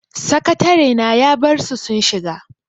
Sakatarena ya barsu sun shiga.